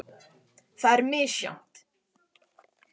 Það er misjafnt.